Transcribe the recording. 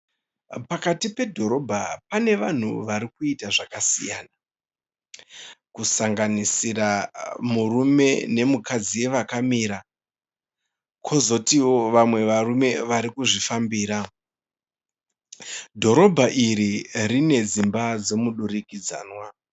Pakati pedhorobha pane vanhu varikuita zvakasiyana kusanganisira murume nemukadzi vakamira, kozotiwo vamwe varume varikuzvifambira .Dhorobha iri rinedzimba dzemuturikidzanwa.